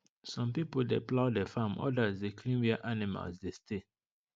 some people dey plough the farm others dey clean where animals dey stay